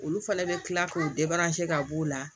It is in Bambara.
Olu fana bɛ kila k'o ka b'o la